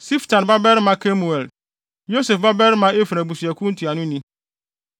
Siftan babarima Kemuel, Yosef babarima Efraim abusuakuw ntuanoni;